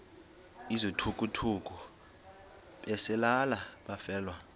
izithukuthuku besalela abafelwa